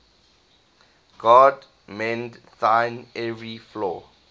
god mend thine every flaw